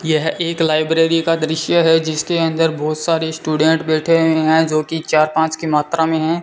यह एक लाइब्रेरी का दृश्य है जिसके अंदर बहोत सारे स्टूडेंट बैठे हैं जो की चार पांच की मात्रा में है।